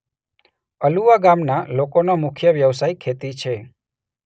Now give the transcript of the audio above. અલુવા ગામના લોકોનો મુખ્ય વ્યવસાય ખેતી છે.